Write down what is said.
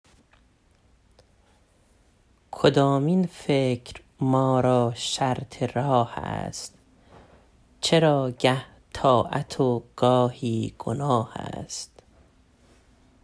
کدامین فکر ما را شرط راه است چرا گه طاعت است و گه گناه است